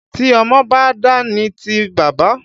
Tí ọmọ ba dà ni ti baba.